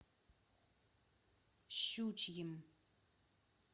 щучьим